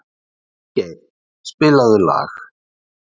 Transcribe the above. Kristgeir, spilaðu lag.